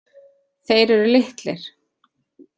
Þeir eru litlir.